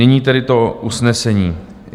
Nyní tedy to usnesení.